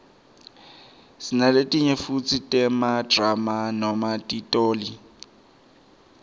sinaletinye futsi temadrama noma titoli